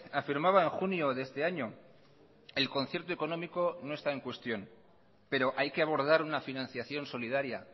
afirmaba en junio de este año el concierto económico no está en cuestión pero hay que abordar una financiación solidaria